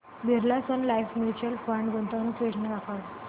Birla sun life mutual fund गुंतवणूक योजना दाखव